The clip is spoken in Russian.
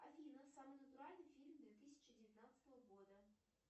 афина самый натуральный фильм две тысячи девятнадцатого года